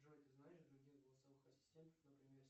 джой ты знаешь других голосовых ассистентов например